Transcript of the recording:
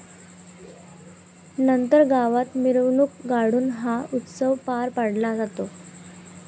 नंतर गावात मिरवणूक काढून हा उत्सव पार पडला जातो.